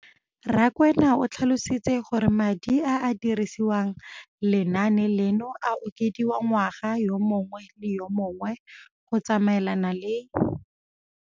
Rakwena o tlhalositse gore madi a a dirisediwang lenaane leno a okediwa ngwaga yo mongwe le yo mongwe go tsamaelana le